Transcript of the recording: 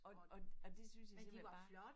Og og og det synes jeg simpelthen bare